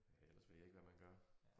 Ellers ved jeg ikke hvad man gør